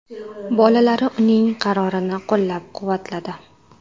Bolalari uning qarorini qo‘llab-quvvatladi.